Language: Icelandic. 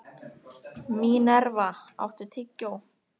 Mínerva, áttu tyggjó?